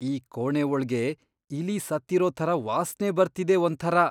ಈ ಕೋಣೆ ಒಳ್ಗೆ ಇಲಿ ಸತ್ತಿರೋ ಥರ ವಾಸ್ನೆ ಬರ್ತಿದೆ ಒಂಥರ.